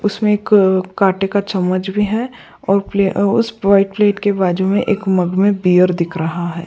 उसमें एक अ काटे का चम्मच भी है और प्ले उस वाइट प्लेट के बाजू में एक मग में बियर दिख रहा है।